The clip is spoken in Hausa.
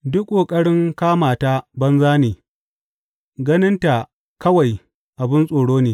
Duk ƙoƙarin kama ta banza ne; ganin ta kawai abin tsoro ne.